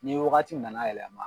Ni wagati nana yɛlɛma